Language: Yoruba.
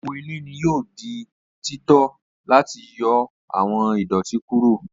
Epo ilẹ ni yoo di tito lati yọ awọn idoti kuro.